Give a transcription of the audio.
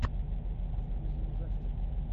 загрузи ужастик